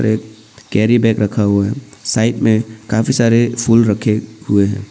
एक carry bag रखा हुआ है साइड में कॉफी सारे फूल रखे हुए हैं।